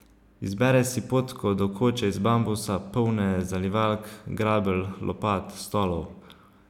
Izbere si potko do koče iz bambusa, polne zalivalk, grabelj, lopat, stolov.